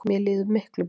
Mér líður miklu betur